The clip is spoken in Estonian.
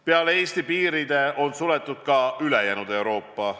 Peale Eesti on suletud ka ülejäänud Euroopa.